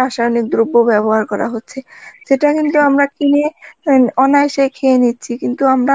রাসায়নিক দ্রব্য ব্যবহার করা হচ্ছে যেটা কিন্তু আমরা কিনে অ্যাঁ কনা সেই খেয়ে নিচ্ছি, কিন্তু আমরা